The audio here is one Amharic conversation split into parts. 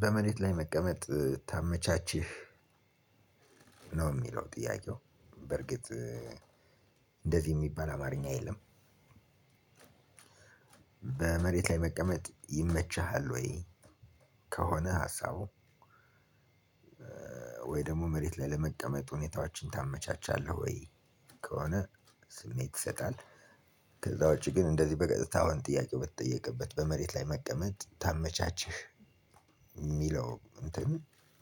በመሬት ላይ መቀመጥ ታመቻችህ ነው እሚለው ጥያቄው በርግጥ እንደዚህ እሚባል አማርኛ የለም። በመሬት ላይ መቀመጥ ይመችሃል ወይ? ከሆነ ሀሳቡ ወይ ደሞ መሬት ላይ ለመቀመጥ ሁኔታዎችን ታመቻቻለህ ወይ? ከሆነ ስሜት ይሰጣል ከዚያ ውጭ ግን እንደዚህ በቀጥታ ጥያቄው በተጠየቀበት በመሬት ላይ መቀመጥ ታመቻችህ እሚለው እንትን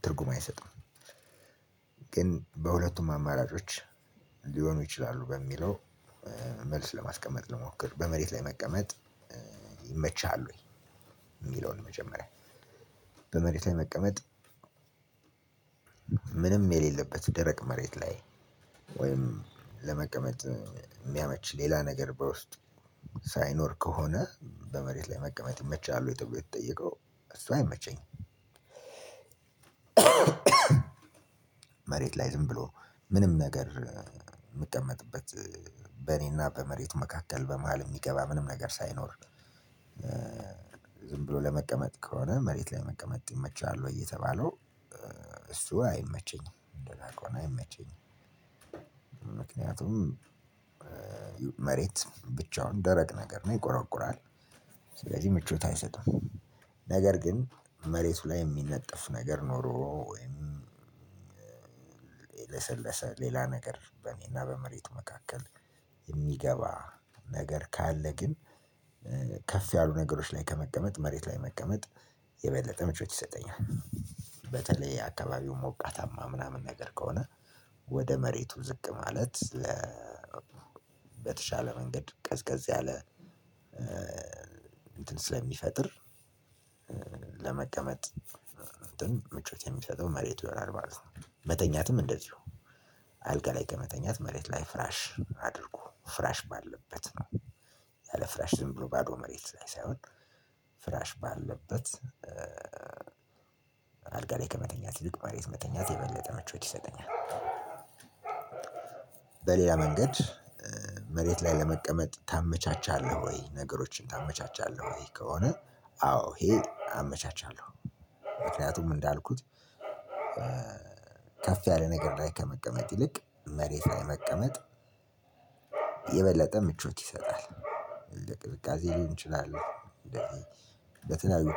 ትርጉም አይሰጥም። ግን በሁለቱም አማራጮች ሊሆኑ ይችላሉ። በሚለው መልስ ለማስቀመጥ ልሞክር በመሬት ላይ መቀመጥ ይመችሃል ወይ? እሚለውን መጀመሪያ በመሬት ላይ መቀመጥ ምንም የሌለበት ደረቅ መሬት ላይ ወይም ለመቀመጥ እሚያመች ሌላ ነገር በውስጥ ሳይኖር ከሆነ በመሬት ላይ መቀመጥ ይመችሃል ወይ ተብሎ የተጠየቀው እሱ አይመቸኝም። መሬት ላይ ዝም ብሎ ምንም ነገር እምቀመጥበት በእኔና በመሬት መካከል በመሃል እሚገባ ምንም ነገር ሳይኖር። ዝም ብሎ ለመቀመጥ ከሆነ መሬት ላይ መቀመጥ ይመችሃል ወይ የተባለው እሱ አይመቸኝም። እንደዛ ከሆነ አይመቸኝም ምክንያቱም መሬት ብቻውን ደረቅ ነገር ነው ይቆረቁራል። ስለዚህ ምቾት አይሰጥም። ነገር ግን መሬቱ ላይ እሚነጠፍ ነገር ኖሮ ወይም ለሰለሰ ሌላ ነገር በእኔ እና በመሬቱ መካከል እሚገባ ነገር ካለ ግን ከፍ ያሉ ነገሮች ላይ ከመቀመጥ መሬት ላይ መቀመጥ የበለጠ ምቾት ይሰጠኛል። በተለይ አካባቢው ሞቃታማ ምናምን ነገር ከሆነ ወደ መሬቱ ዝቅ ማለት በተሻለ መንገድ ቀዝቀዝ ያለ እንትን ስለሚፈጥር ለመቀመጥ ምቾት የሚሰጠው መሬቱ ይሆናል ማለት ነው። መተኛትም እንደዚሁ አልጋ ላይ ከመተኛት መሬት ላይ ፍራሽ አድርጎ ፍራሽ ባለበት ነው። ያለ ፍራሽ ዝም ብሎ ባዶ መሬት ላይ ሳይሆን ፍራሽ ባለበት አልጋ ላይ ከመተኛት ይልቅ መሬት መተኛት የበለጠ ምቾት ይሰጠኛል። በሌላ መንገድ መሬት ላይ ለመቀመጥ ታመቻቻለህ ወይ ነገሮችን ታመቻቻለህ ወይ ከሆነ አዎ ይሄ አመቻቻለሁ። ምክንያቱም እንዳልኩት ከፍ ያለ ነገር ላይ ከመቀመጥ ይልቅ መሬት ላይ መቀመጥ የበለጠ ምቾት ይሰጣል። እንደ ቅዝቃዜ ሊሆን ይችላል እንደዚህ በተለያዩ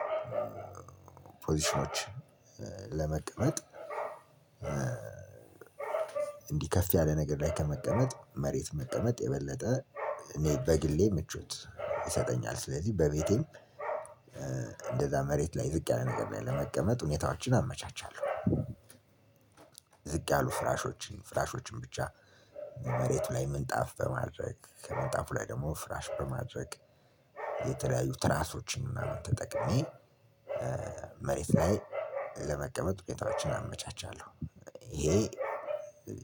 ፖዚሽኖች ለመቀመጥ እንዲህ ከፍ ያለ ነገር ላይ ከመቀመጥ መሬት መቀመጥ የበለጠ አኔ በግሌ ምቾት ይሰጠኛል። ስለዚህ በቤቴ እንደዛ መሬት ላይ ዝቅ ያለ ነገር ለመቀመጥ ሁኔታዎችን አመቻቻለሁ። ዝቅ ያሉ ፍራሾችን ፍራሾችን ብቻ መሬቱ ላይ ምንጣፍ በማድረግ ከምንጣፉ ላይ ደሞ ፍራሽ በማድረግ የተለያዩ ትራሶችን ምናምን ተጠቅሜ መሬት ላይ ለመቀመጥ ቤታችን አመቻቻለሁ ይሄ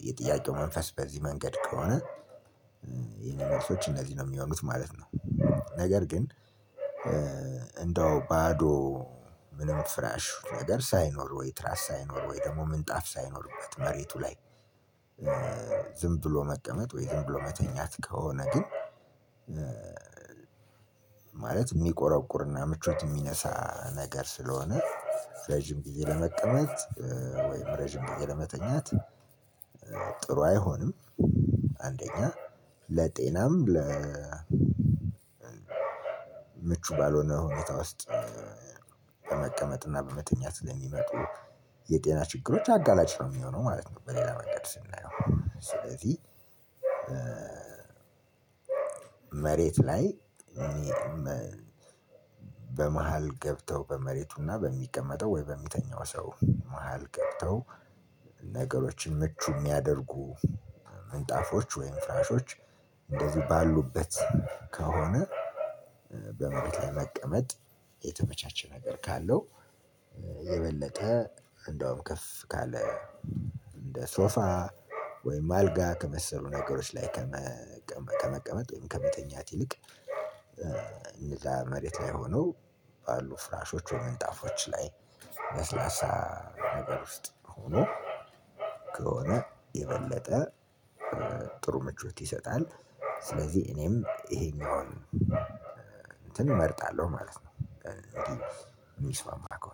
የጥያቄው መንፈስ በዚህ መንገድ ከሆነ የኔ መልሶች እነዚህ ነው እሚሆኑት ማለት ነው። ነገር ግን እንደው ባዶ ምንም ፍራሽ ነገር ሳይኖር ወይ ትራስ ሳይኖር ወይ ደሞ ምንጣፍ ሳይኖርበት መሬቱ ላይ ዝም ብሎ መቀመጥ ወይ ዝም ብሎ መተኛት ከሆነ ግን ማለት እሚቆረቁርና ምቾት የሚነሳ ነገር ስለሆነ ረጅም ጊዜ ለመቀመጥ ወይም ረጅም ጊዜ ለመተኛት ጥሩ አይሆንም። አንደኛ ለጤናም ምቹ ባልሆነ ሁኔታ ውስጥ በመቀመጥ እና በመተኛት ላይ ለሚመጡ የጤና ችግሮች አጋላጭ ነው እሚሆነው ማለት ነው። በሌላ መንገድ ስናየው ስለዚህ መሬት ላይ በመሃል ገብተው በመሬቱና በሚቀመጠው ወይ በሚተኛው ሰው መሃል ገብተው ነገሮችን ምቹ እሚያደርጉ ምንጣፎች ወይም ፍራሾች እንደዚህ ባሉበት ከሆነ በመቀመጥ የተመቻቸ ነገር ካለው የበለጠ እንደውም ከፍ ካለ እንደ ሶፋ ወይም አልጋ ከመሰሉ ነገሮች ላይ ከመቀመጥ ወይም ከመተኛት ይልቅ እነዛ መሬት ላይ ሆነው ባሉ ፍራሾች ወይም ምንጣፎች ላይ ለስላሳ ነገር ውስጥ ሆኖ ከሆነ የበለጠ ጥሩ ምቾት ይሰጣል። ስለዚህ እኔም ይሄኛውን እንትን እመርጣለሁ ማለት ነው። የሚስማማ ከሆነ